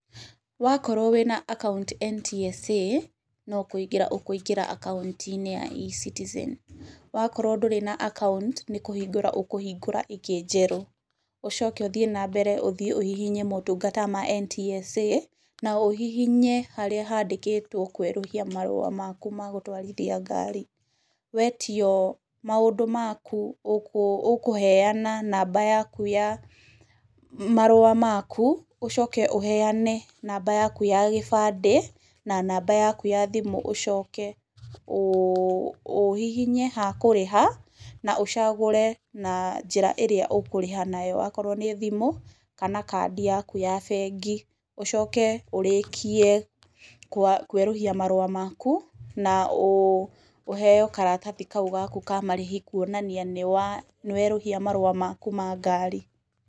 Wakorwo wĩ na akaunti NTSA, no kũingĩra ũkũingĩra akaunti-inĩ ya eCitizen, wakorwo ndũrĩ na akaunti, nĩ kũhingũraa ũkũhingũra ĩngĩ njerũ, ũcoke ũthiĩ na mbere ũthiĩ ũhihinye motungata ma NTSA, na ũhihinye harĩa handĩkĩtwo kũerũhia marũa maku ma gũtwarithia ngari, wetio maũndũ maku, ũkũheana namba yaku ya marũa maku, ũcoke ũheane namba yaku ya gĩbandĩ, na namba yaku ya thimũ, ũcoke ũhihinye ha kũrĩha, na ũcagũre na njĩra ĩrĩa ũkũrĩha nayo, akorwo nĩ thimũ, kana kandi yaku ya bengi, ũcoke ũrĩkie kũerũhia marũa maku, na ũheo karatathi kau gaku ka marĩhi, kuonania nĩ werũhia marũa maku ma ngari.